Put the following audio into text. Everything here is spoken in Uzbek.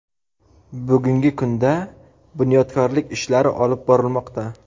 Bugungi kunda bunyodkorlik ishlari olib borilmoqda.